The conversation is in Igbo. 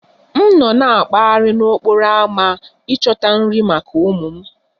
M nọ na-akpaghari n'okporo ámá ịchọta nri maka ụmụ m